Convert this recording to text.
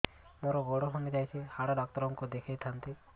ମୋର ଗୋଡ ଭାଙ୍ଗି ଯାଇଛି ହାଡ ଡକ୍ଟର ଙ୍କୁ ଦେଖେଇ ଥାନ୍ତି